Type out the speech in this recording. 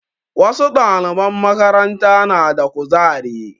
Wasu ɗaliban makaranta na da ƙuzari.